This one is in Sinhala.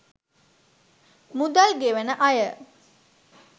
මුදල් ගෙවන අය